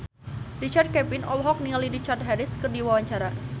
Richard Kevin olohok ningali Richard Harris keur diwawancara